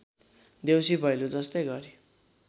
देउसीभैलो जस्तै गरी